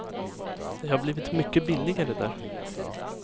Det har blivit mycket billigare där.